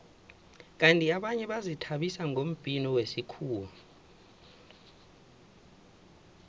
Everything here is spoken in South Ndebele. kandi abanye bazithabisa ngombhino wesikhuwa